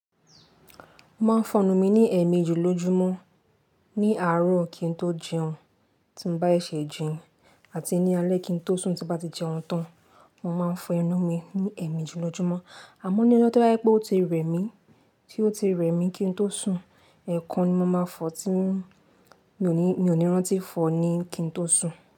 Mo máa ń fọnu mí ní ẹ̀meji jùlọjúmọ́, ní àárọ̀ kí n tó jẹun, tí mo bá ṣe jìn àti ní alẹ́ kí n tó sùn tí bá ti jẹun tán. Mo máa ń fọ inú mi ní ẹ̀miji jùlọjúmọ́. Àmọ́ ní ọjọ́ tó dájú pé ó ti rẹ̀ mí, tí ó ti rẹ̀ mí kí n tó sùn, ẹ̀ẹ̀kan ni mo máa fọ tí mi ò ní rántí fọọ ní kí n tó sùn.